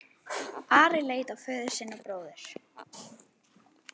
Ari leit á föður sinn og bróður.